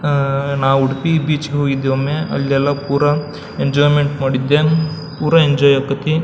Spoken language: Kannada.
ಅಹ್ ನಾವ್ ಉಡುಪಿ ಬೀಚ್ ಗೆ ಹೋಗಿದ್ದೆ ಒಮ್ಮೆ ಅಲ್ಲೆಲ್ಲ ಪುರ ಎಂಜೋಯ್ಮೆಂಟ್ ಮಾಡಿದ್ದೆ ಪೂರಾ ಎಂಜಾಯ್ ಆಗತೈತಿ.